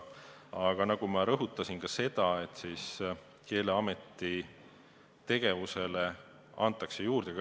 Aga nagu ma rõhutasin, Keeleameti tegevust laiendatakse.